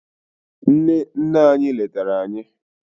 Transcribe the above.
nne nne anyi letara anyi